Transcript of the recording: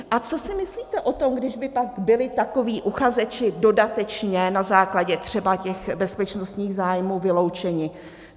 A co si myslíte o tom, když by pak byli takoví uchazeči dodatečně, na základě třeba těch bezpečnostních zájmů, vyloučeni?